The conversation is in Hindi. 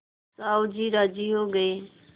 साहु जी राजी हो गये